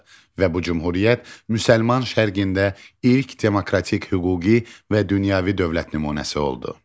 Və bu cümhuriyyət Müsəlman Şərqində ilk demokratik hüquqi və dünyəvi dövlət nümunəsi oldu.